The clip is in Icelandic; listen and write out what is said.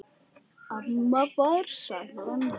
Amma var seiglan holdi klædd.